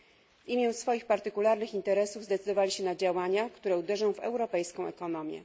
W imię swoich partykularnych interesów zdecydowali się na działania, które uderzą w europejską ekonomię.